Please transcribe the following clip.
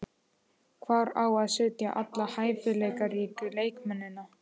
Hvar á að setja alla hæfileikaríku leikmennina?